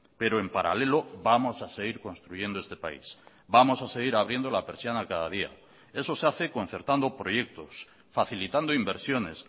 pero en paralelo vamos a seguir construyendo este país vamos a seguir abriendo la persiana cada día eso se hace concertando proyectos facilitando inversiones